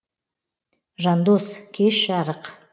жандос кеш жарық